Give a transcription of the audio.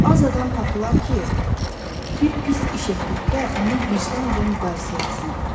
Az adam tapılar ki, bir pis iş etdikdə onu vicdan ilə müqayisə etsin.